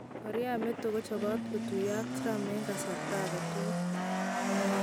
Korea meto kochopot kotuyo ak Trump 'en kasarta agetukul '